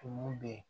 Tumu bɛ yen